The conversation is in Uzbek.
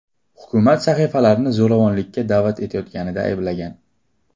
Hukumat sahifalarni zo‘ravonlikka da’vat etayotganida ayblagan.